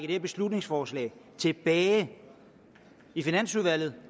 her beslutningsforslag tilbage i finansudvalget